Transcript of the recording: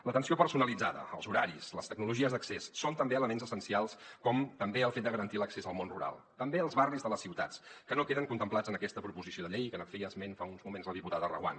l’atenció personalitzada els horaris les tecnologies d’accés són també elements essencials com també el fet de garantir l’accés al món rural també als barris de les ciutats que no queden contemplats en aquesta proposició de llei que en feia esment fa uns moments la diputada reguant